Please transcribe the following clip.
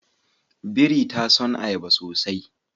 Biri ta son ayaba sosai